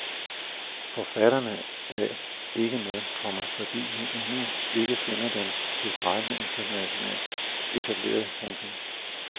Forfatterne er ikke med, komma fordi vi endnu ikke finder dem tilstrækkelig internationalt etablerede. punktum